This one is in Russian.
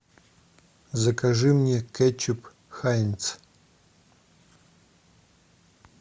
закажи мне кетчуп хайнц